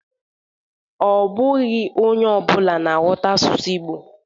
Ọ bụghọ onye ọbụna na-aghọta asụsụ Ịgbo